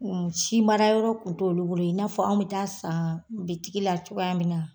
N sin baarayɔrɔ tun t'olu bolo i n'a fɔ anw be taa'a san bitigi la cogoya min na.